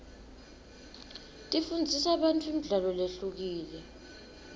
tifundzisa bantfu imidlalo lehlukile